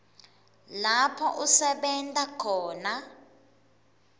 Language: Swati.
lapho usebenta khona